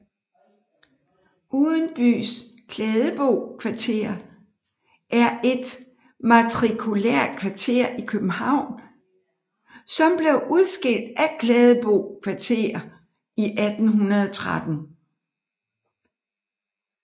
Udenbys Klædebo Kvarter er et matrikulært kvarter i København som blev udskilt af Klædebo Kvarter i 1813